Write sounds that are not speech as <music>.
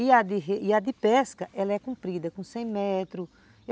E a de <unintelligible> a de pesca ela é comprida, com cem metros.